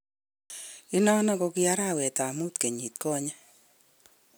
Inonon ko kiarawet tab mut kenyinikonye.